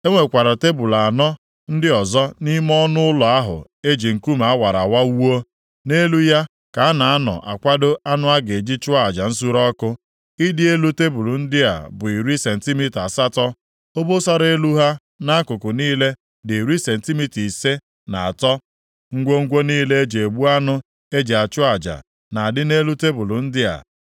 E nwekwara tebul anọ ndị ọzọ nʼime ọnụ ụlọ ahụ e ji nkume a wara awa wuo. Nʼelu ya ka a na-anọ akwado anụ a ga-eji chụọ aja nsure ọkụ. Ịdị elu tebul ndị a bụ iri sentimita asatọ. Obosara elu ha nʼakụkụ niile dị iri sentimita ise na atọ. Ngwongwo niile e ji egbu anụ e ji achụ aja na-adị nʼelu tebul ndị a.